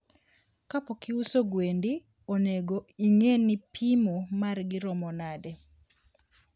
kapokiuso gwendi onego ingeni pimo margi romo nade